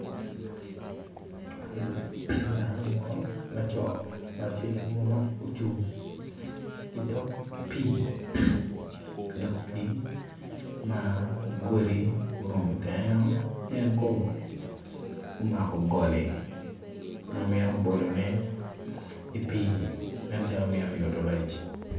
Man dano munu ma co munu tye ocung idog pii ma godi gurumo tengeo en kono omako goli ma mito bolone i pii nen calo mito yuto rec.